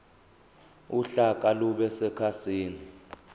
uhlaka lube sekhasini